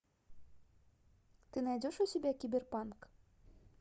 ты найдешь у себя киберпанк